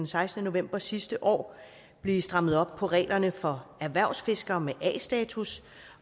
sekstende november sidste år blive strammet op på reglerne for erhvervsfiskere med a status